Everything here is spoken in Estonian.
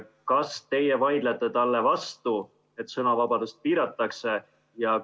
Kas teie vaidlete talle vastu, et sõnavabadust piiratakse?